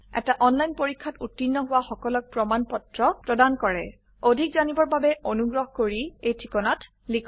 এটা অনলাইন পৰীক্ষাত উত্তীৰ্ণ হোৱা সকলক প্ৰমাণ পত্ৰ প্ৰদান কৰে অধিক জানিবৰ বাবে অনুগ্ৰহ কৰি contactspoken tutorialorg এই ঠিকনাত লিখক